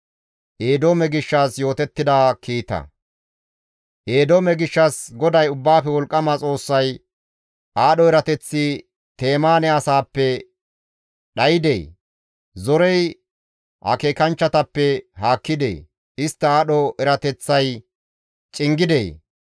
Eedoome gishshas GODAY Ubbaafe wolqqama Xoossay, «Aadho erateththi Temaane asaappe dhaydee? Zorey akeekanchchatappe haakkidee? Istta aadho erateththay cingidee?